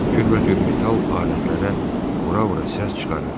Kürbəcür metal alətlərə vura-vura səs çıxarır.